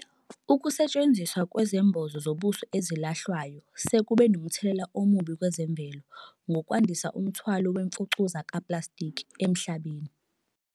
Ukusetshenziswa kwezembozo zobuso ezilahlwayo sekube nomthelela omubi kwezemvelo ngokwandisa umthwalo wemfucuza kaplastiki emhlabeni.